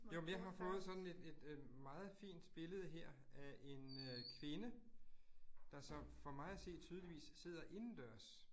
Jo, men jeg har fået sådan et et øh meget fint billede her af en øh kvinde, der så for mig at se tydeligt sidder indendørs